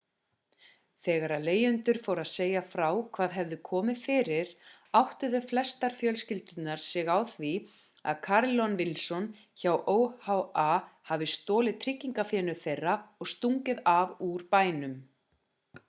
þegar leigjendurnir fór að segja frá hvað hafði komið fyrir áttuðu flestar fjölskyldurnar sig á því að carolyn wilson hjá oha hafði stolið tryggingafénu þeirra og stungið af úr bænum